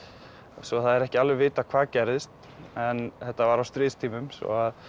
svo það er ekki alveg vitað hvað gerðist en þetta var á stríðstímum svo að